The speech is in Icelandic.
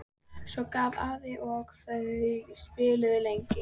Svo gaf afi og þau spiluðu lengi.